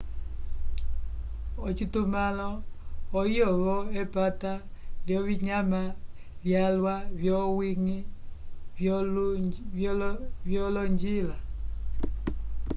ocitumãlo oyo-vo epata lyovinyama vyalwa vyowiñgi lyolonjila